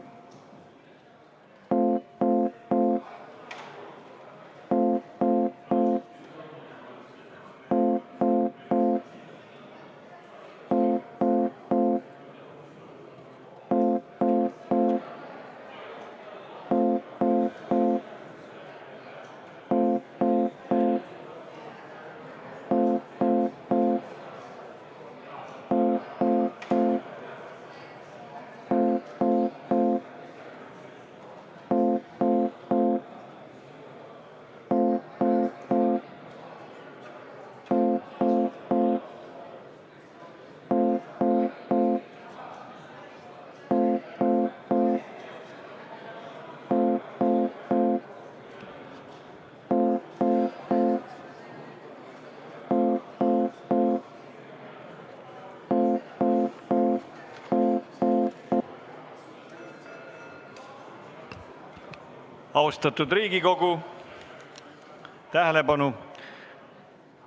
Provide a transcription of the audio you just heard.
Austatud Riigikogu, tähelepanu!